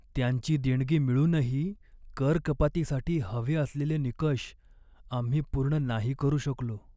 त्यांची देणगी मिळूनही कर कपातीसाठी हवे असलेले निकष आम्ही पूर्ण नाही करू शकलो.